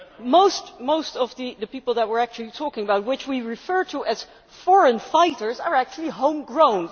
Most of the people that we are actually talking about, who we refer to as foreign fighters', are actually home grown.